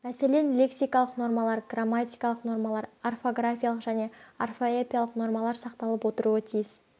мәселен лексикалық нормалар грамматикалық нормалар орфографиялық және орфоэпиялық нормалар сақталып отыруы тиіс